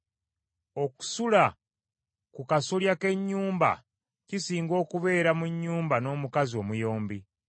Okusula ku kasolya k’ennyumba, kisinga okubeera mu nnyumba n’omukazi omuyombi.